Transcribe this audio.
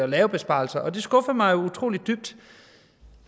lave besparelser og det skuffede mig utrolig dybt